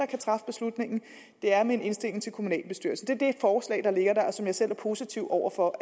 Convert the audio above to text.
kan træffe beslutningen det er med en indstilling til kommunalbestyrelsen det forslag der ligger der og som jeg selv er positiv over for